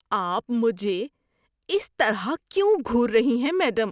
آپ مجھے اس طرح کیوں گھور رہی ہیں میڈم؟